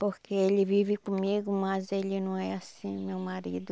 Porque ele vive comigo, mas ele não é assim meu marido.